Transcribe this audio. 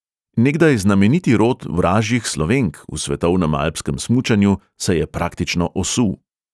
Nekdaj znameniti rod 'vražjih slovenk' v svetovnem alpskem smučanju se je praktično osul.